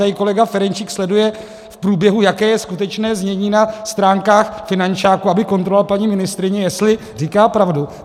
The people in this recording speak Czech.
Tady kolega Ferjenčík sleduje v průběhu, jaké je skutečné znění na stránkách finančáku, aby kontroloval paní ministryni, jestli říká pravdu.